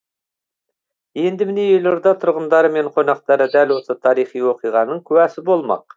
енді міне елорда тұрғындары мен қонақтары дәл осы тарихи оқиғаның куәсі болмақ